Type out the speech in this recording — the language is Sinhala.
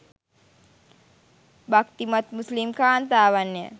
භක්තිමත් මුස්ලිම් කාන්තාවන්ය